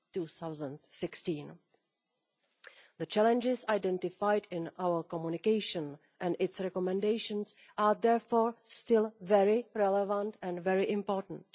2016. The challenges identified in our communication and its recommendations are therefore still very relevant and very important.